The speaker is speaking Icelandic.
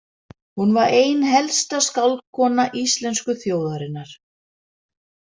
Hún var ein helsta skáldkona íslensku þjóðarinnar.